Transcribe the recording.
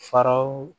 Faraw